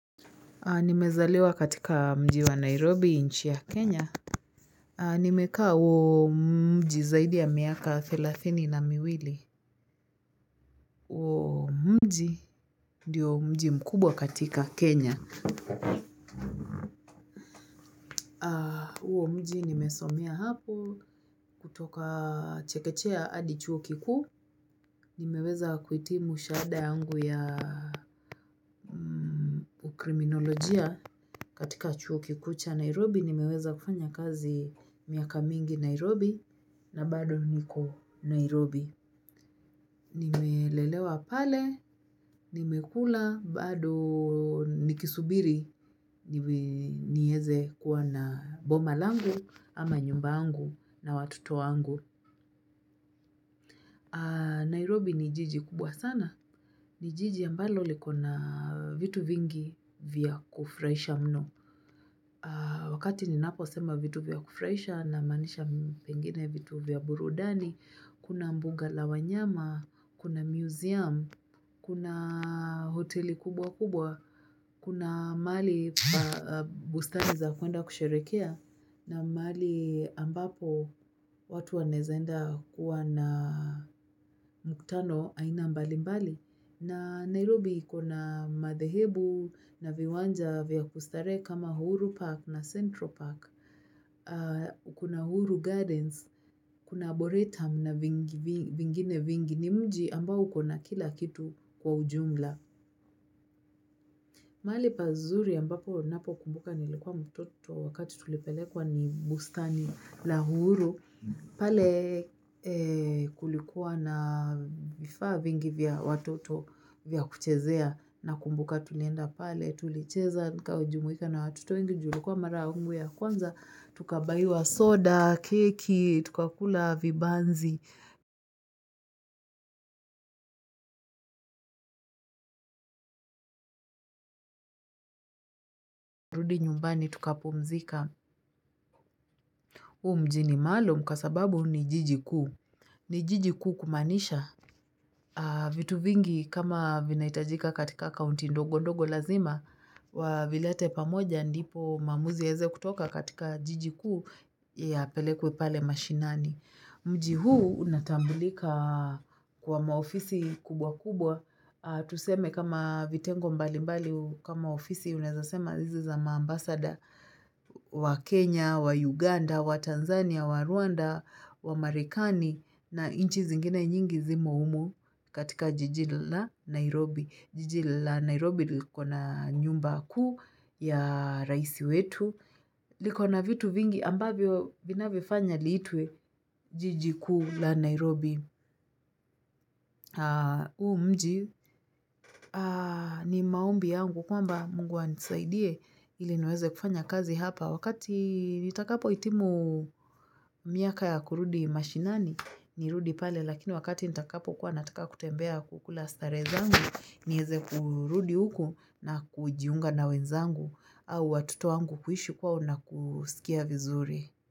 Nimezaleliwa katika mji wa Nairobi nchi ya Kenya nimekaa huo mji zaidi ya miaka thelathini na miwili, Huomji ndiyo mji mkubwa katika Kenya huo mji nimesomea hapo kutoka chekechea hadi chuo kikuu Nimeweza kuhitimu shahada yangu ya kriminolojia katika chuo kikuu cha Nairobi nimeweza kufanya kazi miaka mingi Nairobi na bado niko Nairobi. Nimelelewa pale, nimekula, bado nikisubiri, nieze kuwa na boma langu, ama nyumba yangu na watoto angu. Nairobi ni jiji kubwa sana. Ni jiji ambalo likona vitu vingi vya kufuraisha mno. Wakati ninaposema vitu vya kufurahisha namaanisha pengine vitu vya burudani, Kuna mbuga la wanyama, kuna museum, kuna hoteli kubwa kubwa, kuna mahali bustani za kuenda kusherekea na mahali ambapo watu waneza enda kuwa na muktano aina mbali mbali. Na Nairobi kuna madhehebu na viwanja vya kustarehe kama uhuru Park na Central Park. Kuna uhuru Gardens, kuna Boretum na vingine vingi ni mji ambao kuna kila kitu kwa ujumla. Mahali pazuri ambapo napokumbuka nilikuwa mtoto wakati tulipelekwa ni bustani la uhuru, pale kulikuwa na vifaa vingi vya watoto vya kuchezea nakumbuka tulienda pale tulicheza nikajumuika na watoto wngi juu ilikuwa mara yangu ya kwanza, tukabaiwa soda, keki, tukakula vibanzi, rudi nyumbani tukapumzika. Huu mji ni maalum kww sababu ni jiji kuu. Ni jiji kuu kumaanisha vitu vingi kama vinahitajika katika kaunti ndogo ndogo lazima wavilete pamoja ndipo maamuzi yaeze kutoka katika jiji kuu yeye apelekwe pale mashinani. Mji huu unatambulika kwa maofisi kubwa kubwa tuseme kama vitengo mbalimbali kama ofisi unaeza sema hizi za maambasada wa Kenya, wa Uganda, wa Tanzania, wa Rwanda, wa Marekani na nchi zingine nyingi zimo humu katika jiji la Nairobi. Jiji la Nairobi likona nyumba kuu ya rais wetu, likona vitu vingi ambavyo vinavyofanya liitwe jiji kuu la Nairobi huu mji ni maombi yangu kwamba Mungu anisaidie ili niweze kufanya kazi hapa. Wakati nitakapohitimu miaka ya kurudi mashinani, nirudi pale, lakini wakati nitakapokuwa nataka kutembea kukula starehe zangu, nieze kurudi huku na kujiunga na wenzangu au watoto wangu kuishi kwao na kusikia vizuri.